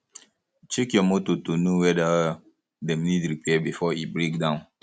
check your motor to know weda dem need repair before e break down